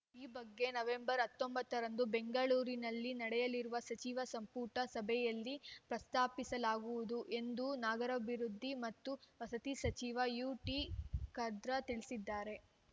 ಈ ಬಗ್ಗೆ ನವೆಂಬರ್ ಹತ್ತೊಂಬತ್ತ ರಂದು ಬೆಂಗಳೂರಿನಲ್ಲಿ ನಡೆಯಲಿರುವ ಸಚಿವ ಸಂಪುಟ ಸಭೆಯಲ್ಲಿ ಪ್ರಸ್ತಾಪಿಸಲಾಗುವುದು ಎಂದು ನಗರಾಭಿವೃದ್ಧಿ ಮತ್ತು ವಸತಿ ಸಚಿವ ಯುಟಿಖಾದರ್‌ ತಿಳಿಸಿದ್ದಾರೆ